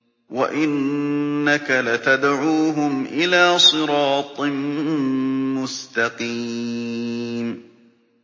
وَإِنَّكَ لَتَدْعُوهُمْ إِلَىٰ صِرَاطٍ مُّسْتَقِيمٍ